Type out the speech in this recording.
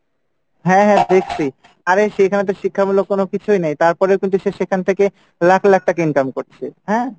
হ্যাঁ হ্যাঁ দেখসি আরে সেখানে তো শিক্ষামূলক কোনো কিছুই নেই তারপরেও কিন্তু সে সেখান থেকে লাখ লাখ টাকা income করছে হ্যাঁ,